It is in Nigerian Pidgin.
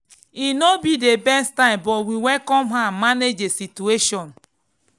e no be the best time but we welcome her manage the situation.